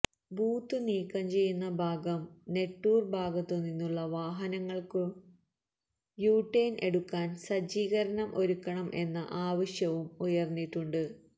booth നീക്കം ചെയ്യുന്ന ഭാഗം നെട്ടൂര് ഭാഗത്തു നിന്നുള്ള വാഹനങ്ങള്ക്കു യുടേണ് എടുക്കാന് സജ്ജീകരണം ഒരുക്കണം എന്ന ആവശ്യവും ഉയര്ന്നിട്ടുണ്ട്